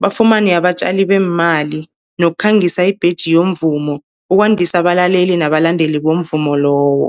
bafumane abatjali beemali nokukhangisa ibheji yomvumo ukwandisa abalaleli nabalandeli bomvumo lowo.